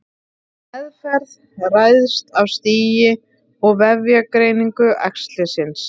Meðferð ræðst af stigi og vefjagreiningu æxlisins.